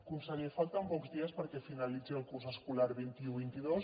conseller falten pocs dies perquè finalitzi el curs escolar vint un vint dos